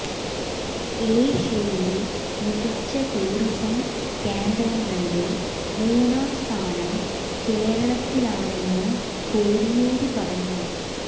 ഏഷ്യയിലെ മികച്ച ടൂറിസം കേന്ദ്രങ്ങളില് മൂന്നാം സ്ഥാനം കേരളത്തിനാണെന്നും കോടിയേരി പറഞ്ഞു